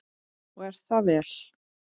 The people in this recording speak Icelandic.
Og er það vel.